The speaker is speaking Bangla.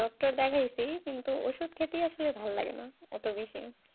ডাক্তার দেখিয়েছি কিন্তু ওষুধ খেতে আর ভালো লাগছে না